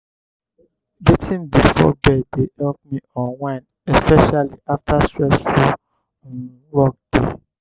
bathing before bed dey help me unwind especially after stressful um workday.